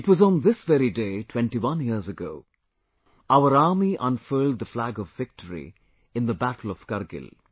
It was on this very day 21 years ago, our Army unfurled the flag of victory in the battle of Kargil